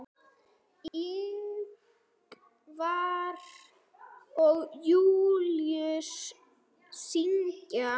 Ingvar og Júlíus syngja.